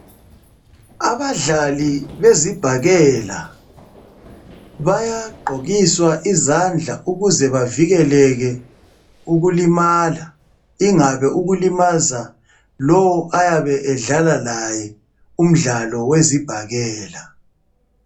Abadlali bezibhakela bayagqokiswa izandla ukuze bavikeleke ukulimala ingabe ukulimaza lowo ayabe edlala laye umdlalo wezibhakela.